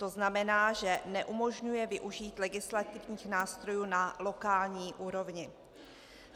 To znamená, že neumožňuje využít legislativních nástrojů na lokální úrovni.